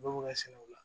Bɛɛ b'o ka sɛnɛ u la